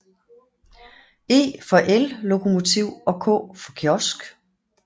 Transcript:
E for ellokomotiv og k for kiosk